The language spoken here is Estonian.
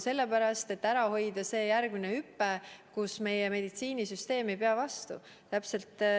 Sellepärast, et tuleb ära hoida see järgmine hüpe, kus meie meditsiinisüsteem ei pea vastu.